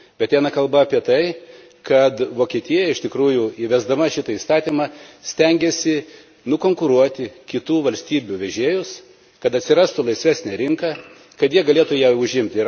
Bet kalba yra apie tai, kad Vokietija, iš tikrųjų įvesdama šitą įstatymą, stengiasi nukonkuruoti kitų valstybių vežėjus, kad atsirastų laisvesnė rinka, kad jie galėtų ją užimti.